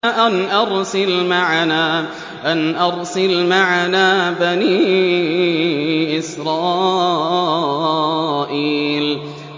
أَنْ أَرْسِلْ مَعَنَا بَنِي إِسْرَائِيلَ